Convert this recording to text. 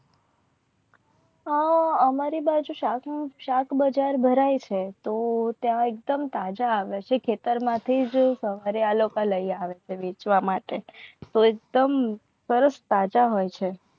આ અમારી બાજુ શાક બજાર ભરાય છે. તો એકદમ તાજા આવે છે. ખેતરમાંથી વેચવા માટે તો એકદમ સાચા હોય છે.